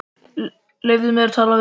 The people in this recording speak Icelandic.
Leyfðu mér að tala við þig!